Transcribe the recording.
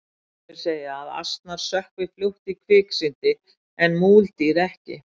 sumir segja að asnar sökkvi fljótt í kviksyndi en múldýr ekki